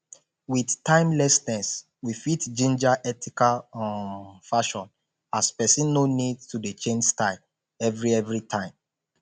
with timelessness we fit ginger ethical um fashion as person no need to dey change style every every time